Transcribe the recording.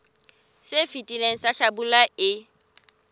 se fetileng sa hlabula e